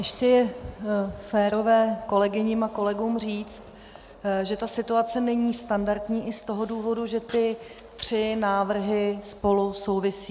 Ještě je férové kolegyním a kolegům říct, že ta situace není standardní i z toho důvodu, že ty tři návrhy spolu souvisejí.